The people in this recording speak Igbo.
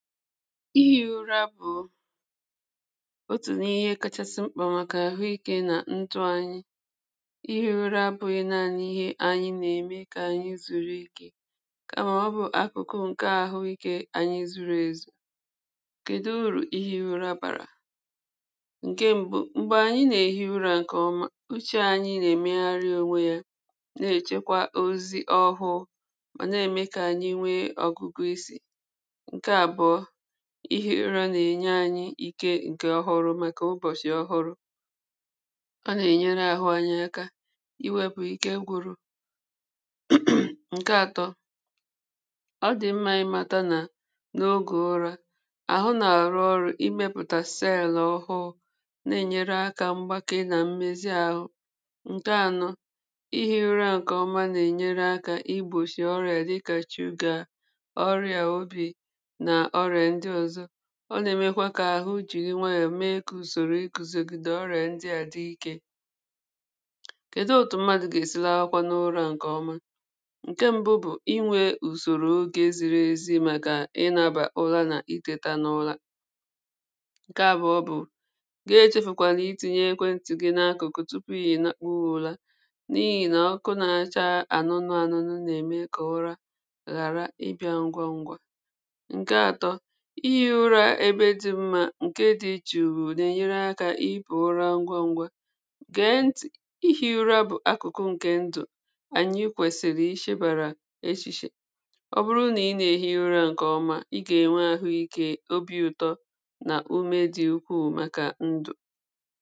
ihi̇ ụra bụ̀ otù n’ihe kachasị mkpà màkà àhụikė nà ntụ anyị ihe ụra bụ̇ yȧ na-anyị ihe anyị nà-ème kà ànyị zùrù ike kà màọbụ̀ akụ̀kụ ǹkè àhụikė anyị zuru èzù kèdụ urù ihe ira bàrà ǹke mbụ̇ m̀gbè ànyị nà-ehi ụrȧ ǹkèọma uche anyị nà-emegharị onwe yȧ na-èchekwa ozi ọhụ̇ mà na-ème kà ànyị nwee ọgụgụ isi̇ ị hara ị nà ènye anyị ike ǹkè ọhụrụ̇ màkà ụbọ̀shị̀ ọhụrụ ọ nà ènyere ahụ anyị aka iwėpù ike gwụrụ ǹke atọ ọ dì mmȧ ịmȧta nà n’ogè ụrȧ àhụ nà àrụ ọrụ̇ imepùtàseèlà ọhụụ na-ènyere akȧ mgbake nà mmezi àhụ ǹke anọ ịhị̇ ụrȧ ǹkèọma nà-ènyere akȧ igbòshì ọrị̀à dịkà shugà ọ nà-èmekwa kà àhụ jìri nwayọ̀ mee kà ùsòrò ikuzogide ọ rèè ndị à dị ikė kèdi ụ̀tụ̀ mmadụ̀ gà-èsi lekwa n’ụra ǹkèọma ǹke mbu bụ̀ inwė ùsòrò ogė ziri ezi màkà ịnȧbà ụla nà itėta n’ụla ǹke àbụ̀ọ bụ̀ gị echefùkwàlà iti̇nyė ekwentị̀ gị n’akụ̀kụ̀ tupu ìhì nàkpọ ùla n’ihì nà ọkụ na-acha ànụnụ ànụnụ nà-ème kà ụra ghàra ịbị̇ȧ ngwa ngwà ǹke dị̇ jụ̀ụ̀ nà-ènyere akȧ ịbụ̇ ụra ngwa ngwa gee ntị̀ ihe ịra bụ̀ akụ̀kụ ǹkè ndụ̀ ànyị kwèsị̀rị̀ ịshèbàrà eshìshè ọ bụrụ nà ị nà-èhi ụra ǹkè ọma ị gà-ènwe àhụikė obi̇ ụ̀tọ nà ume dị ukwuù màkà ndụ̀